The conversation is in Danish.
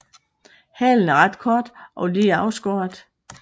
Halen er ret kort og lige afskåret